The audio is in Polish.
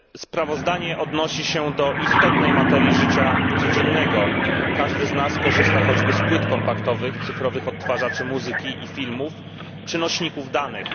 Sprawozdanie odnosi się do istotnej materii życia codziennego. Każdy z nas korzysta choćby z płyt kompaktowych, cyfrowych odtwarzaczy muzyki i filmów, czy nośników danych.